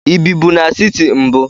Ị ebibu n'siti mbu?